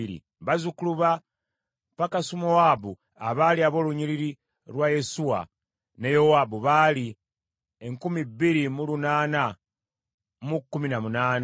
bazzukulu ba Pakasumowaabu abaali ab’olunnyiriri lwa Yesuwa ne Yowaabu baali enkumi bbiri mu lunaana mu kumi na munaana (2,818),